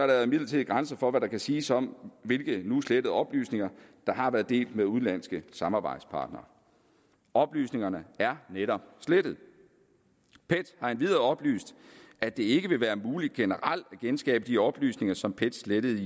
der imidlertid grænser for hvad der kan siges om hvilke nu slettede oplysninger der har været delt med udenlandske samarbejdspartnere oplysningerne er netop slettet pet har endvidere oplyst at det ikke vil være muligt generelt at genskabe de oplysninger som pet slettede i